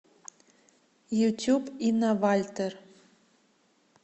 ютюб инна вальтер